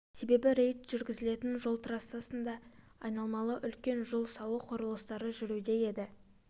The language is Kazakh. себебі рейд жүргізілетін жол трассасында айналмалы үлкен жол салу құрылыстары жүруде еді